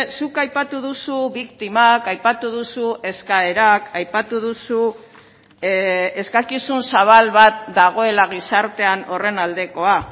zuk aipatu duzu biktimak aipatu duzu eskaerak aipatu duzu eskakizun zabal bat dagoela gizartean horren aldekoa